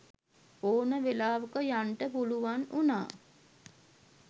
ඕන වෙලාවක යන්ඩ පුළුවන් උනා.